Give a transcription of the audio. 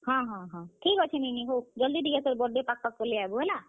ହଁ ହଁ, ଠିକ୍ ଅଛେ ସେ ନୀନି ହଉ, ଜଲ୍ ଦି ଟିକେ ତୋର୍ birthday ପାଖ୍ ପାଖ୍ ପଲେଇ ଆଏବୁ ହେଲା।